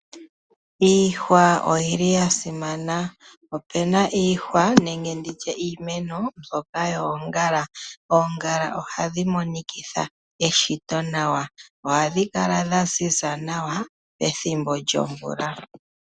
Iihwa oya simana. Opu na iihwa nenge iimeno mbyoka yoongala. Oongala ohadhi monikitha eshito nawa. Ohadhi kala dha ziza nawa pethimbo lyomvula.